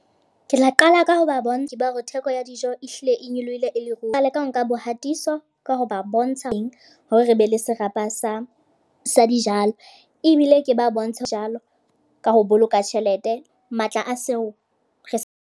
Ke tla qala ka ho ba bontsha hore theko ya dijo e hlile e nyolohile e le ruri. Qale ka ho nka bohatiso, ka ho ba bontsha eng hore re be le serapa sa sa dijalo. Ebile ke ba bontshe jalo ka ho boloka tjhelete matla a seo re sa.